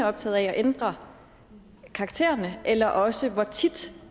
optaget af at ændre karaktererne eller også hvor tit